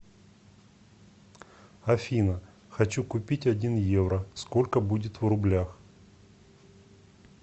афина хочу купить один евро сколько будет в рублях